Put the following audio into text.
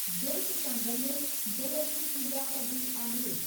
जोति सां गॾु जल जी पूॼा कबी आहे।